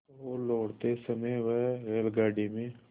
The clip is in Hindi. तो लौटते समय वह रेलगाडी में